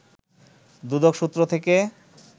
দুদক সূত্র থেকে